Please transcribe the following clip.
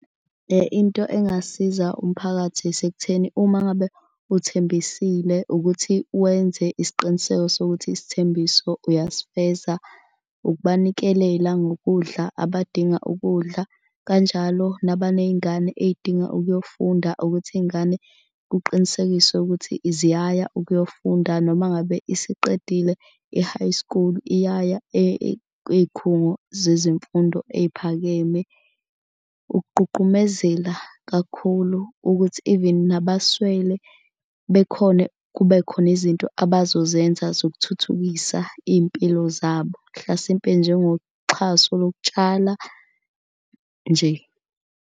Into engasiza umphakathi isekutheni uma ngabe uthembisile ukuthi wenze isiqiniseko sokuthi isithembiso uyasifeza ukubanikelela ngokudla abadinga ukudla. Kanjalo nabaney'ngane ezidinga ukuyofunda ukuthi iy'ngane kuqinisekiswe ukuthi ziyaya ukuyofunda. Noma ngabe isiqedile e-high school iyaya ey'khungo zezemfundo eyiphakeme. Ukugqugqumezela kakhulu ukuthi even nabaswele bekhone kube khona izinto abazozenza zokuthuthukisa iy'mpilo zabo. Mhlasimpe njengoxhaso lokutshala nje.